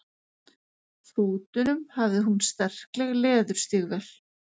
fótunum hafði hún sterkleg leðurstígvél.